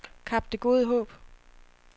Kap Det Gode Håb